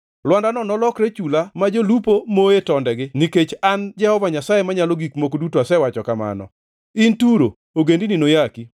Lwandano nolokre chula ma jolupo moye tondegi nikech an Jehova Nyasaye Manyalo Gik Moko Duto asewacho kamano. In Turo, ogendini noyaki,